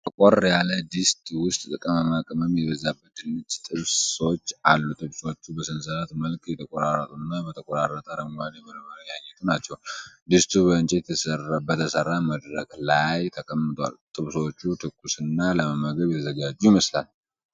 ጠቆር ያለ ድስት ውስጥ ቅመማ ቅመም የበዛባቸው ድንች ጥብሶች አሉ። ጥብሶቹ በሰንሰለት መልክ የተቆራረጡ እና በተቆራረጠ አረንጓዴ በርበሬ ያጌጡ ናቸው። ድስቱ ከእንጨት በተሠራ መድረክ ላይ ተቀምጧል። ጥብሶቹ ትኩስ እና ለመመገብ የተዘጋጁ ይመስላል።